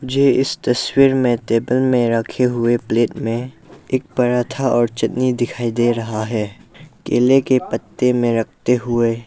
मुझे इस तस्वीर में टेबल में रखे हुए प्लेट में एक पराठा और चटनी दिखाई दे रहा है केले के पत्ते में रखते हुए।